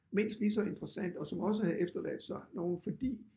Mindst lige så interessante og som også havde efterladt sig nogle fordi